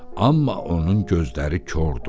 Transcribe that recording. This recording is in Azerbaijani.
Amma onun gözləri kordur.